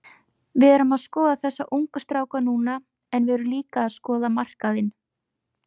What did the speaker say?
Við erum að skoða þessa ungu stráka núna en við erum líka að skoða markaðinn.